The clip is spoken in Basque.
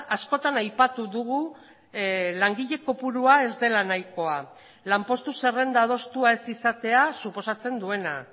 askotan aipatu dugu langile kopurua ez dela nahikoa lanpostu zerrenda adostua ez izatea suposatzen duena